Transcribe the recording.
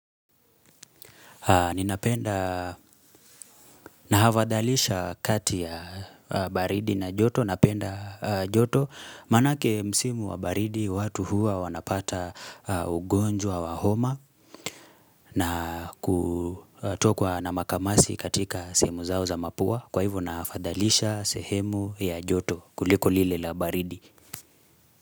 Ninapenda na hafadhalisha kati ya baridi na joto napenda joto manake msimu wa baridi watu huwa wanapata ugonjwa wa homa na kutokwa na makamasi katika sehemu zao za mapua kwa hivyo nahafadhalisha sehemu ya joto kuliko lile la baridi.